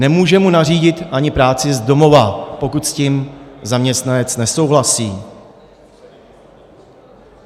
Nemůže mu nařídit ani práci z domova, pokud s tím zaměstnanec nesouhlasí.